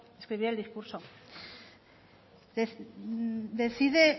escribir el discurso decide